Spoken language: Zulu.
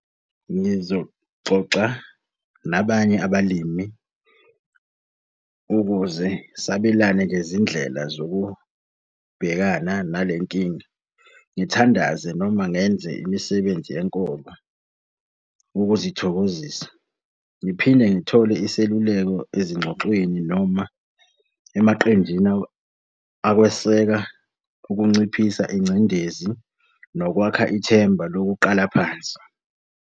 Ngizoxoxa nabanye abalimi ukuze sabelane ngezindlela zokubhekana nale nkinga. Ngithandaze noma ngenze imisebenzi yenkolo. Ukuzithokozisa, ngiphinde ngithole iseluleko ezingxoxweni noma emaqenjini akweseka ukunciphisa ingcindezi nokwakha ithemba lokuqala phansi.